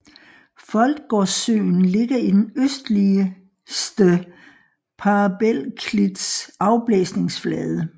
Foldgårdssøen ligger i den østligste parabelklits afblæsningsflade